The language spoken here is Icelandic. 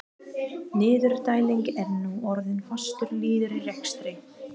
Niðurdæling er nú orðin fastur liður í rekstri